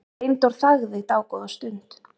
Steindór þagði dágóða stund.